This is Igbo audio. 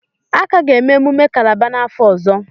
A ka ga-eme emumme Kálábá n'afọ ọzọ